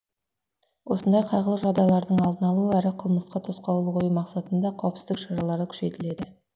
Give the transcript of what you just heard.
осындай қайғылы жағдайлардың алдын алу әрі қылмысқа тосқауыл қою мақсатында қауіпсіздік шаралары күшейтіледі